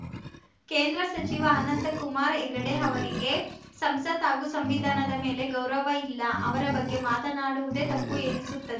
ಕೇಂದ್ರ ಸಚಿವ ಅನಂತ ಕುಮಾರ್‌ ಹೆಗಡೆ ಅವರಿಗೆ ಸಂಸತ್‌ ಹಾಗೂ ಸಂವಿಧಾನದ ಮೇಲೆ ಗೌರವ ಇಲ್ಲ ಅವರ ಬಗ್ಗೆ ಮಾತನಾಡುವುದೇ ತಪ್ಪು ಎನಿಸುತ್ತದೆ